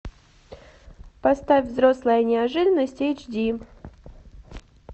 поставь взрослая неожиданность эйч ди